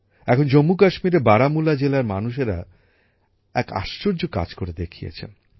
এখন জম্মুকাশ্মীরের বারামুলা জেলার মানুষেরা এক আশ্চর্য কাজ করে দেখিয়েছেন